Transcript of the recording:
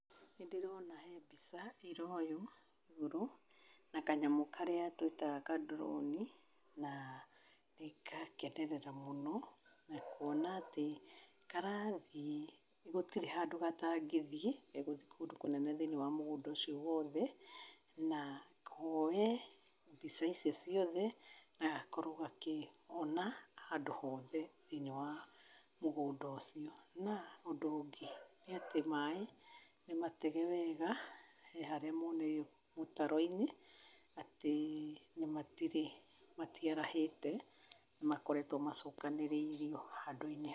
Nĩ ndĩrona he mbica ĩraoywo igũrũ na kanyamũ karĩa twĩtaga ka drone na nĩ ngakenerera mũno na kuona atĩ karathiĩ, gũtirĩ handũ gatangĩthiĩ, gegũthiĩ kũndũ kũnene thĩiniĩ wa mũgũnda ũcio wothe, na kooye mbica icio ciothe na gakorwo gakĩona handũ hothe thĩinĩ wa mũgũnda ũcio. Na, ũndũ ũngĩ nĩ atĩ maaĩ nĩ matege wega, he harĩa moonereirio mũtaro-inĩ, atĩ na matirĩ matiarahĩte makoretwo macokanĩrĩirio handũ-inĩ...